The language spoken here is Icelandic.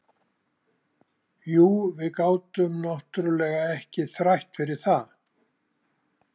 Jú, við gátum náttúrlega ekki þrætt fyrir það.